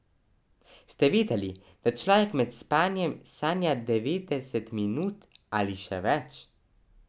Ste vedeli, da človek med spanjem sanja devetdeset minut ali še več?